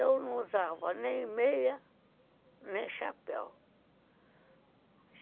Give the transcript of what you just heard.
Eu não usava nem meia, nem chapéu.